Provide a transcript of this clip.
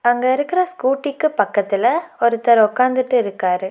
அங்க இருக்குற ஸ்கூட்டிக்கு பக்கத்துல ஒருத்தர் உக்காந்துட்டு இருக்காரு.